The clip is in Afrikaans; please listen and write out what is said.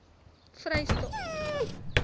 vrystaat